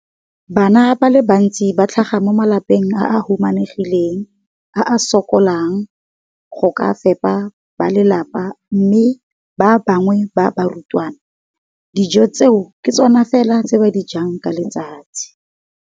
Bana ba le bantsi ba tlhaga mo malapeng a a humanegileng a a sokolang go ka fepa ba lelapa mme ba bangwe ba barutwana, dijo tseo ke tsona fela tse ba di jang ka letsatsi.